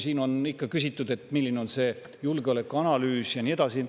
Siin on ikka küsitud, milline on see julgeolekuanalüüs ja nii edasi.